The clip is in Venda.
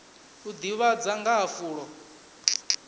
u ḓivhadza nga ha fulo